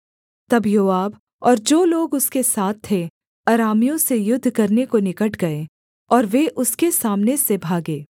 तब योआब और जो लोग उसके साथ थे अरामियों से युद्ध करने को निकट गए और वे उसके सामने से भागे